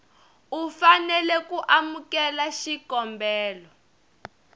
u fanela ku amukela xikombelo